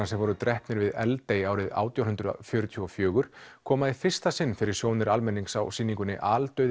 sem voru drepnir við Eldey árið átján hundruð fjörutíu og fjögur koma í fyrsta sinn fyrir sjónir almennings á sýningunni